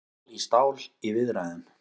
Stál í stál í viðræðum